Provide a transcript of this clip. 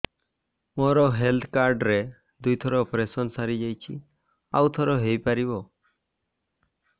ମୋର health card ରେ ଦୁଇ ଥର ଅପେରସନ ସାରି ଯାଇଛି ଆଉ ଥର ହେଇପାରିବ